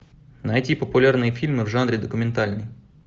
найти популярные фильмы в жанре документальный